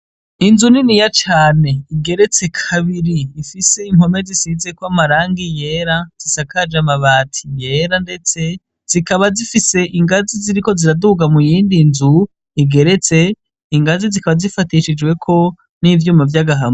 Inzu niniya cane igeretse kabiri ifise impome zisizeko amarangi yera, zisakaje amabati yera, ndetse zikaba zifise ingazi ziriko ziraduga mu yindi nzu igeretse. Ingazi zikaba zifatishijweko n'ivyuma vy'agahama.